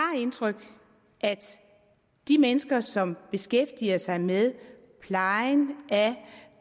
indtryk at de mennesker som beskæftiger sig med plejen